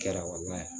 Kɛra wala